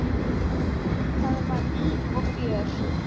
Þar var líf og fjör.